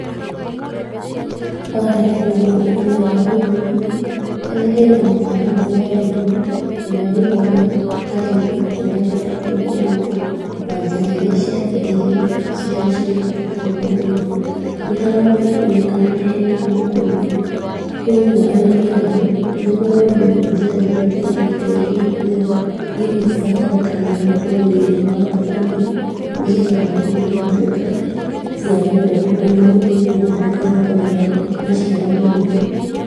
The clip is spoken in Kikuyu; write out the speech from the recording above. Haha hena wonania wa ũrĩmi, harĩa hena mũtaramu wa ũrĩmi ũrĩa ũronia arĩmi ũrĩa mabatiĩ kũrĩma, na njĩra irĩa ciagĩrĩire iria cirĩ cia kũrĩma. Nĩ haronekena hena thũkũma, koguo arĩmi aya nĩmaronio njĩra irĩa itiganĩte, irĩa ibatarĩkanaga ũrĩmi-inĩ wa thũkũma, nĩgetha thũkũma igatuĩka cia gũkũra na mũrĩmi agatuĩka wa kũgĩa maciaro maingĩ.